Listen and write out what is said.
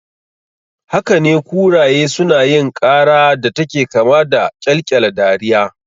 Hakane, kuraye sunayin ƙara da take kama da ƙyalƙyala dariya